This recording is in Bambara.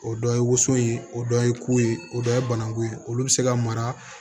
O dɔ ye woso ye o dɔ ye kun ye o dɔ ye banakun ye olu bɛ se ka mara